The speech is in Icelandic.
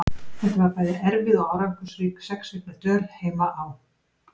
Þetta var bæði erfið og árangursrík sex vikna dvöl heima á